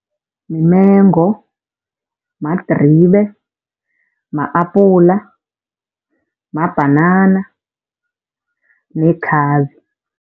Mimengo, madribe, ma-apula, mabhanana nekhabe.